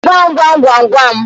Gwa m gwamgwamgwam